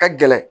Ka gɛlɛn